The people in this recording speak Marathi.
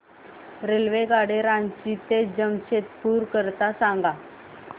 रेल्वेगाडी रांची ते जमशेदपूर करीता सांगा